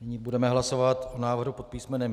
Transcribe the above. Nyní budeme hlasovat o návrhu pod písm.